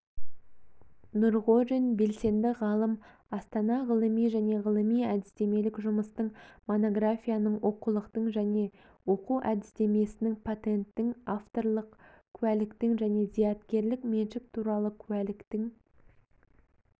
нұрғожин белсенді ғалым астам ғылыми және ғылыми-әдістемелік жұмыстың монографияның оқулықтың және оқу әдістеменің патенттің авторлық куәліктің және зияткерлік меншік туралы куәліктің